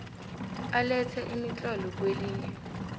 alethe imitlolo kwelinye